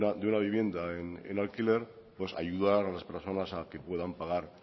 de una vivienda en alquiler pues ayudar a las personas a que puedan pagar